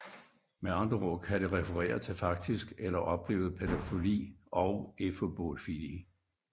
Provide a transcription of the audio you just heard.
Med andre ord kan det referere til faktisk eller oplevet pædofili og efebofili